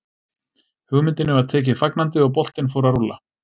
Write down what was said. Hugmyndinni var tekið fagnandi og boltinn fór að rúlla.